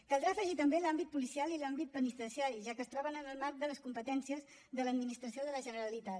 caldrà afegir també l’àmbit policial i l’àmbit penitenciari ja que es troben en el marc de les competències de l’administració de la generalitat